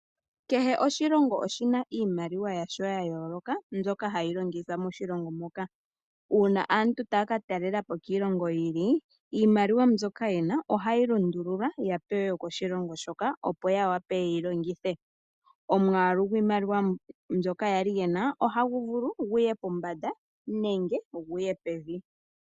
Kehe oshilongo oshina iimaliwa yasho ya yooloka ndyoka hayi longithwa moshilongo moka. Uuna aantu taya katalela po kiilongo yi ili iimaliwa ndyoka yena ohayi lundululwa ya pewe yokoshilongo shoka opo ya wape yeyi longithe. Omwaalu gwiimaliwa ndyoka kwali yena ohagu vulu guye pombanda nenge guye pevi.